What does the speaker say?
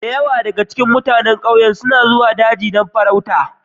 Da yawa daga cikin mutanen ƙauyen suna zuwa daji don farauta